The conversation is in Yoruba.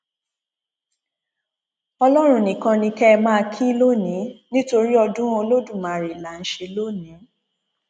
ọlọrun nìkan ni kẹ ẹ máa kí lónìí nítorí ọdún olódùmarè là ń ṣe lónìí